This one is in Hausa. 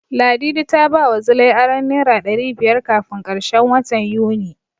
Ladidi ta bawa Zilai aron Naira ɗari biyar kafin karshen watan Yuni.